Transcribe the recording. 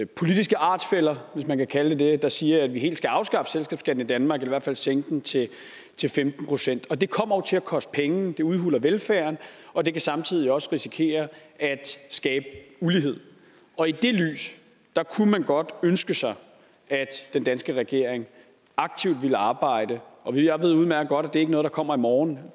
politiske artsfæller hvis man kan kalde dem det der siger at vi helt skal afskaffe selskabsskatten i danmark eller i hvert fald sænke den til til femten procent det kommer jo til at koste penge og det udhuler velfærden og det kan samtidig også risikerer at skabe ulighed og i det lys kunne man godt ønske sig at den danske regering aktivt ville arbejde for jeg ved udmærket godt at det ikke er noget der kommer i morgen